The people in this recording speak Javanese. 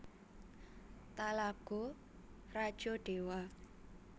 Talago Rajo Dewa